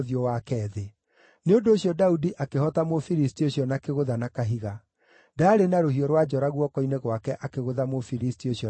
Nĩ ũndũ ũcio Daudi akĩhoota Mũfilisti ũcio na kĩgũtha na kahiga; ndaarĩ na rũhiũ rwa njora guoko-inĩ gwake akĩgũtha Mũfilisti ũcio na akĩmũũraga.